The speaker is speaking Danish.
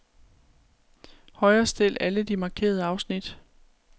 Højrestil alle de markerede afsnit.